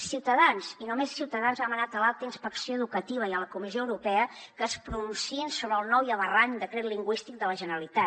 ciutadans i només ciutadans ha demanat a l’alta inspecció educativa i a la comissió europea que es pronunciïn sobre el nou i aberrant decret lingüístic de la generalitat